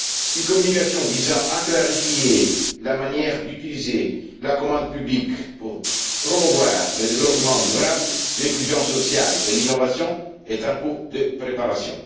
Une communication visant à clarifier la manière d'utiliser la commande publique pour promouvoir le développement durable, l'inclusion sociale et l'innovation est en cours de préparation.